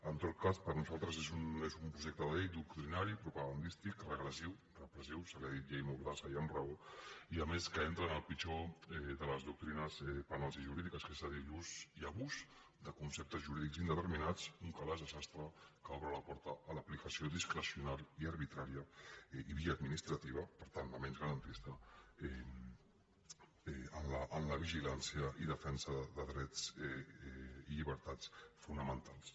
en tot cas per nosaltres és un projecte de llei doctrinari i propagandístic regressiu repressiu se n’ha dit llei mordassa i amb raó i a més que entra en el pitjor de les doctrines penals i jurídiques que és l’ús i abús de conceptes jurídics indeterminats un calaix de sastre que obre la porta a l’aplicació discrecional i arbitrària i via administrativa per tant la menys garantista en la vigilància i defensa de drets i llibertats fonamentals